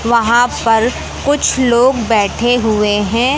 वहां पर कुछ लोग बैठे हुए हैं।